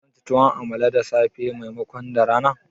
Zanci tuwon amala da safe maimakon da rana